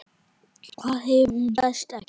Hvað ef hún berst ekki?